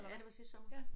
Ja det var sidste sommer